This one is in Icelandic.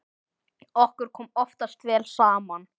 Okkur kom oftast vel saman.